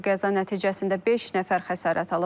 Qəza nəticəsində beş nəfər xəsarət alıb.